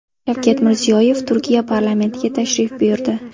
Shavkat Mirziyoyev Turkiya parlamentiga tashrif buyurdi.